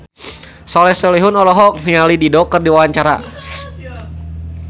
Soleh Solihun olohok ningali Dido keur diwawancara